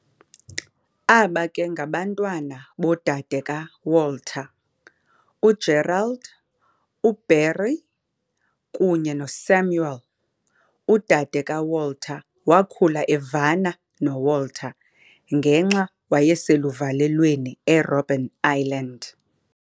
Aba ke ngabantwana bodadeka - Walter, u- Gerald, u- Beryl kunye no- Samuel, udade ka- Walter wakhula evana kakhulu no - Walter ngexa wayeseluvalelweni e - Robben Island.